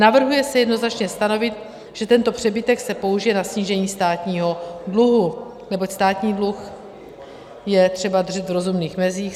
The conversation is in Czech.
Navrhuje se jednoznačně stanovit, že tento přebytek se použije na snížení státního dluhu, neboť státní dluh je třeba držet v rozumných mezích.